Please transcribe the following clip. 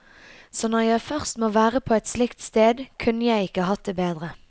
Så når jeg først må være på et slikt sted, kunne jeg ikke hatt det bedre.